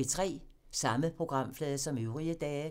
Samme programflade som øvrige dage